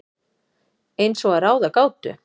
Eins og að ráða gátu.